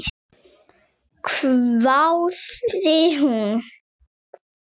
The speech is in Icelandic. hváði hún.